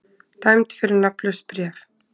Dæmd fyrir nafnlaust bréf